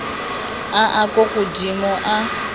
a a kwa godimo a